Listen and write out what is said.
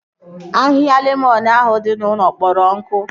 Ahịhịa lemọn ahụ dị n'ụlọ kpọrọ nkụ